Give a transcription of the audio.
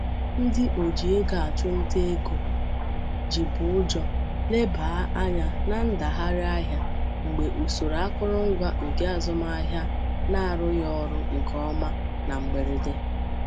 Ndị oji ego achụ nta ego jibụjo lebaa anya na ndagharị ahịa mgbe usoro akọrọngwa nke azụmahịa na-arụghị ọrụ nke ọma na mgberede.